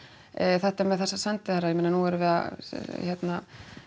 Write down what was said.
þetta með þessa sendiherra ég meina nú erum við að hérna